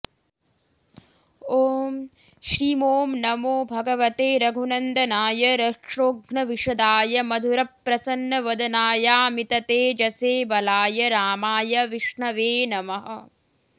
ॐ श्रीमों नमो भगवते रघुनन्दनाय रक्षोघ्नविशदाय मधुरप्रसन्नवदनायामिततेजसे बलाय रामाय विष्णवे नमः